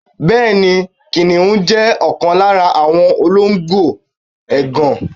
Bẹẹni, Kìnìún jẹ́ ọ̀kan lára àwọn olóńgbò ègàn.